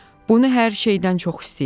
Bunu hər şeydən çox istəyirəm.